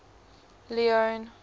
leone